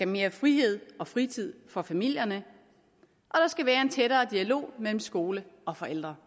mere frihed og fritid for familierne og der skal være en tættere dialog mellem skole og forældre